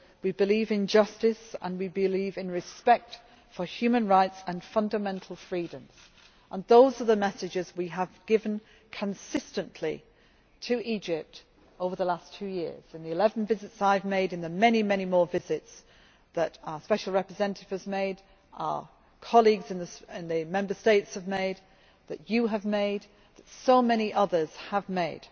We believe in justice and we believe in respect for human rights and fundamental freedoms, and those are the messages we have given consistently to Egypt over the last two years in the 11 visits I have made, in the very many more visits that our Special Representative has made, our colleagues in the Member States have made, that you have made, that so many others have made.